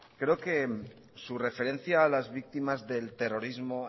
creo que su referencia a las víctimas del terrorismo